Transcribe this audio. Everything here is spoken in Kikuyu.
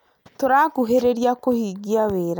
Tũrakuhĩrĩrĩa kũhingia wĩra